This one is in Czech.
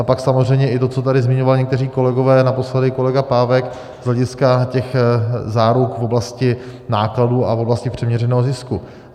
A pak samozřejmě i to, co tady zmiňovali někteří kolegové, naposledy kolega Pávek, z hlediska těch záruk v oblasti nákladů a v oblasti přiměřeného zisku.